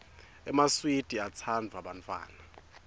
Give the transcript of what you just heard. emaswidi atsanduwa bantfwana